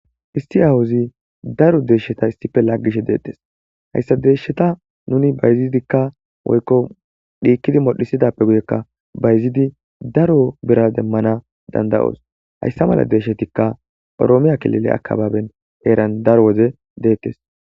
Issi awuzi daro deeshsheta issife laggishe deettes hayssa deeshsheta nuni bayzidikka woykko dhiikkidi modhisidappe guyekka bayzidi daro bira demmana dandayoos hayssa mala deeshshetikka oroomiya kilile akababen heeran daro woze deettes.